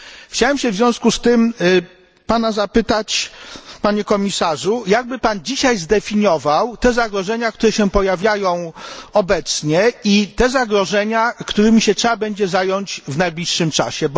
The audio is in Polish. Chciałbym się w związku z tym zapytać, Panie Komisarzu, jakby Pan dzisiaj zdefiniował te zagrożenia, które się pojawiają obecnie i te zagrożenia, którymi się trzeba będzie zająć w najbliższym czasie?